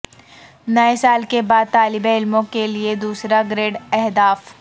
نئے سال کے بعد طالب علموں کے لئے دوسرا گریڈ اہداف